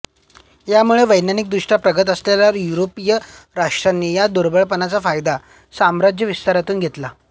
त्यामुळे वैज्ञानिकदृष्ट्या प्रगत असलेल्या युरोपीय राष्ट्रांनी या दुबळेपणाचा फायदा साम्राज्यविस्तारातून घेतला